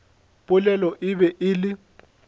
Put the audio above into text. polelo e be e le